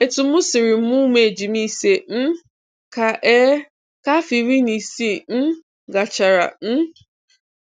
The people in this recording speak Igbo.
Etu m siri mụọ ụmụ ejima ise um ka um ka afọ iri na isii um gachara um